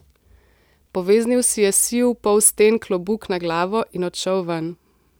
Poveznil si je siv polsten klobuk na glavo in odšel ven.